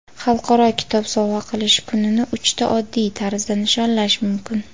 Xalqaro kitob sovg‘a qilish kunini uchta oddiy tarzda nishonlash mumkin.